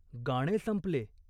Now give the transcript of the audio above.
गाणे संपले.